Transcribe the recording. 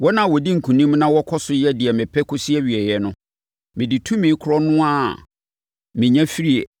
Wɔn a wɔdi nkonim na wɔkɔ so yɛ deɛ mepɛ kɔsi awieeɛ no, mede tumi korɔ no ara a menya firii